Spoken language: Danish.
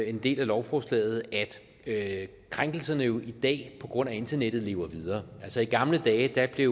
en del af lovforslaget at krænkelserne jo i dag på grund af internettet lever videre altså i gamle dage blev